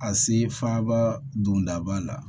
A se faaba dondaba la